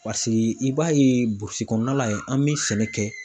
Pasiki i b'a ye burusi kɔnɔna la yen an bi sɛnɛ kɛ